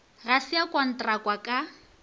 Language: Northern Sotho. ga se a kontrakwa ka